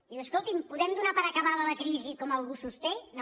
diu escolti’m podem donar per acabada la crisi com algú sosté no